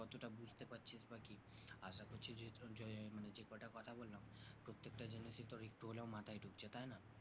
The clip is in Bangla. প্রত্যেকটা জিনিস একটু হলেও তোর মাথায় ঢুকছে তাই না